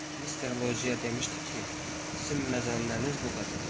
Mister Lociya demişdi ki, sizin məzənnəniz bu qədərdir.